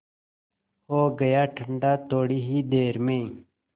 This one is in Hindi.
हो गया ठंडा थोडी ही देर में